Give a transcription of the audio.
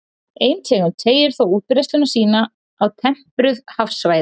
Ein tegund teygir þó útbreiðslu sína á tempruð hafsvæði.